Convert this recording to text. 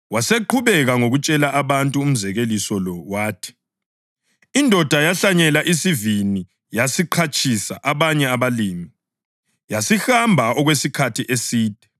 Waseqhubeka ngokutshela abantu umzekeliso lo wathi: “Indoda yahlanyela isivini yasiqhatshisa abanye abalimi, yasihamba okwesikhathi eside.